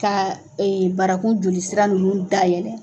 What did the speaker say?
Ka barakun joli sira nunnu dayɛlɛn.